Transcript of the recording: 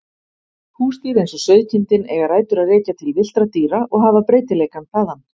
Húsdýr eins og sauðkindin eiga rætur að rekja til villtra dýra og hafa breytileikann þaðan.